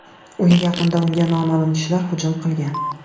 Uyi yaqinida unga noma’lum kishilar hujum qilgan.